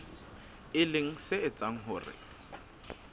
e leng se etsang hore